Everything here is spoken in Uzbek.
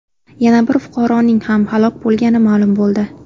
Yana bir fuqaroning ham halok bo‘lgani ma’lum bo‘ldi.